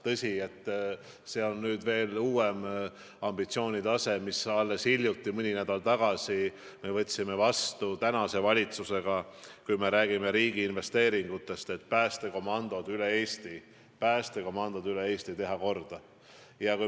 Tõsi, see on nüüd veel kõrgem ambitsioonitase: alles hiljuti, mõni nädal tagasi me võtsime praeguse valitsusega vastu otsuse – jutt on riigi investeeringutest –, et päästekomandod üle Eesti tuleb korda teha.